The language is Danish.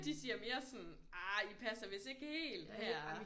De siger mere sådan ah I passer vidst ikke helt her